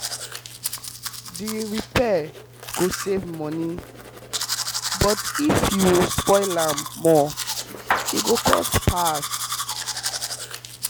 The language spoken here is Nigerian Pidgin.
diy repairs go save money but if you spoil am more e go cost pass